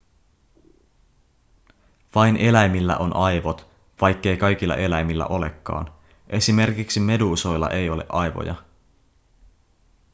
vain eläimillä on aivot vaikkei kaikilla eläimillä olekaan – esimerkiksi meduusoilla ei ole aivoja